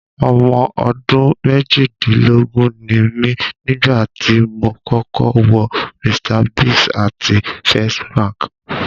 Ọmọ ọdún méjìdínlógún ni mí nígbà tí mo kọ́kọ́ wọ Mr Biggs àti First Bank.